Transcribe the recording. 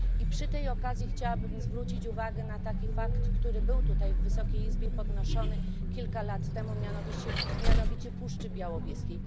Przy tej okazji chciałabym zwrócić uwagę na fakt, który był tutaj, w Wysokiej Izbie, podnoszony kilka lat temu, mianowicie temat Puszczy Białowieskiej.